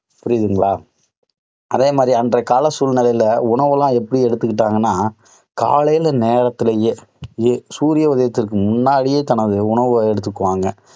புரியுதுங்களா? அதே மாதிரி அன்றைய கால சூழ்நிலையில உணவெல்லாம் எப்படி எடுத்துக்கிட்டாங்கன்னா, காலைல நேரத்திலேயே, சூரிய உதயத்திற்கு முன்னாடியே, தன்னுடைய உணவை எடுத்துக்குவாங்க.